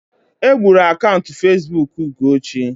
Egburu akaụntụ Facebook Ugochi.